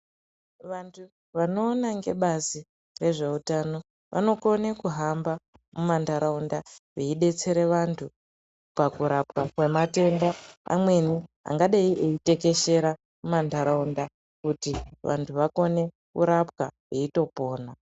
Vantu vanoona ngebazi rezveutano vanokone kuhamba mumantaraunda veidetsere vantu pakurapwa kwematenda amweni angadai eitekeshera mumantaraunda kuti vantu vakone kurapwa veitopona.